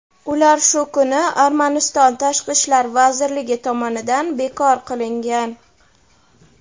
ular shu kuni Armaniston tashqi ishlar vazirligi tomonidan bekor qilingan.